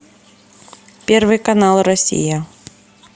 первый канал россия